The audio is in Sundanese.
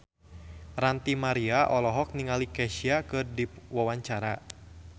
Ranty Maria olohok ningali Kesha keur diwawancara